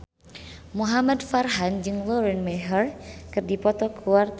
Muhamad Farhan jeung Lauren Maher keur dipoto ku wartawan